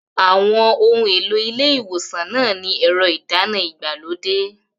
Àwọn ohun èlò ilé ìwòsàn náà ní ẹ̀rọ ìdáná ìgbàlódé.